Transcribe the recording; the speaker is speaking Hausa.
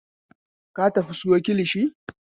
Ka tafi ka sayo kilishi!